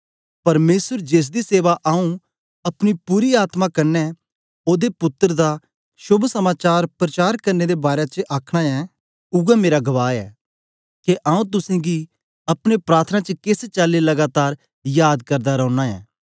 परमेसर जेसदी सेवा आंऊँ अपनी पूरी आत्मा कन्ने ओदे पुत्तर दा शोभ समाचार प्रचार करने दे बारै च करना ऐं उवै मेरा गवाह ऐ के आंऊँ तुसेंगी अपने प्रार्थना च केस चाली लगातार याद करदा रौना ऐं